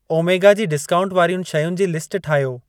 Omega जी discount वारियुनि शयुनि जी लिस्ट ठाहियो।